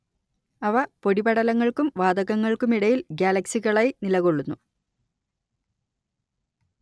അവ പൊടിപടലങ്ങൾക്കും വാതകങ്ങൾക്കുമിടയിൽ ഗ്യാലക്സികളായി നിലകൊള്ളുന്നു